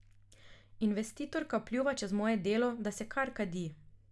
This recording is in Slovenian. Investitorka pljuva čez moje delo, da se kar kadi.